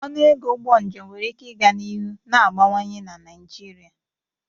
Ọnụ ego ụgbọ njem nwere ike ịga n'ihu na-agbawanye na Naijiria.